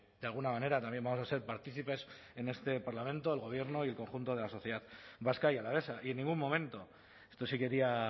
de alguna manera también vamos a ser partícipes en este parlamento el gobierno y el conjunto de la sociedad vasca y alavesa y en ningún momento esto sí quería